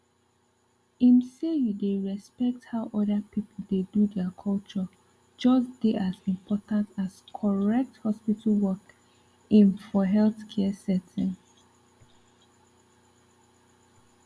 ehm say you dey respect how other people dey do their culture just dey as important as correct hospital work ehm for healthcare settings